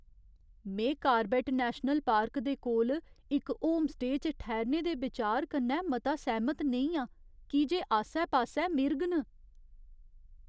में Corbett national park दे कोल इक होमस्टेऽ च ठैह्रने दे बिचार कन्नै मता सैह्मत नेईं आं की जे आस्सै पास्सै मिरग न।